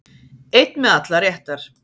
Einn með allar réttar